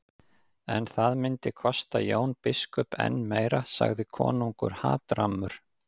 En það myndi kosta Jón biskup enn meira, sagði konungur hatrammur.